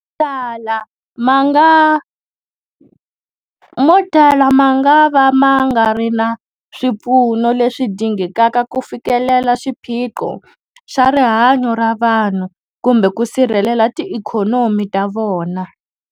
Mo tala mangava ma nga ri na swipfuno leswi dingekaka ku fikelela xiphiqo xa rihanyu ra vanhu kumbe ku sirhelela tiikhonomi ta vona.